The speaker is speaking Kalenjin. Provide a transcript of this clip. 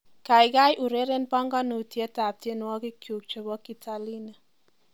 Kaikai ureren banganutiet ab tiengokikngu chebo kilatini